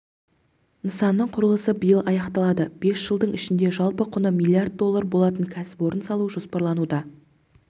нысанның құрылысы биыл аяқталады бес жылдың ішінде жалпы құны млрд доллар болатын кәсіпорын салу жоспарлануда